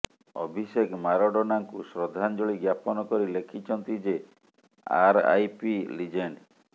ଅଭିଷେକ ମାରାଡୋନାଙ୍କୁ ଶ୍ରଦ୍ଧାଞ୍ଜଳି ଜ୍ଞାପନ କରି ଲେଖିଛନ୍ତି ଯେ ଆରଆଇପି ଲିଜେଣ୍ଡ